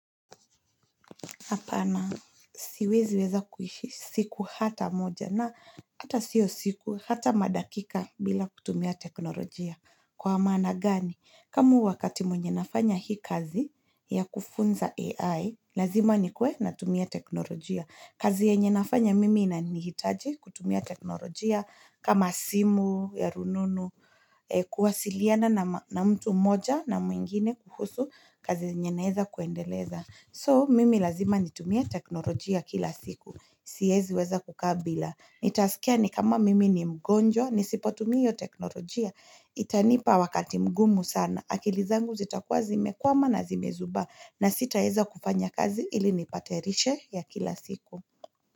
Apana, siwezi weza kuishi siku hata moja na hata sio siku hata madakika bila kutumia teknolojia. Kwa maana gani? Kama wakati mwenye nafanya hii kazi ya kufunza AI, lazima nikuwe natumia teknolojia. Kazi yenye nafanya mimi inanihitaji kutumia teknolojia kama simu, ya rununu, kuwasiliana na mtu mmoja na mwingine kuhusu kazi yenye naeza kuendeleza. So mimi lazima nitumie teknolojia kila siku. Siezi weza kukaa bila. Nitaskia ni kama mimi ni mgonjwa, nisipo tumia teknolojia. Itanipa wakati mgumu sana. Akili zangu zitakuwa zimekwama na zimezubaa na sitaeza kufanya kazi ili nipatayarishe ya kila siku.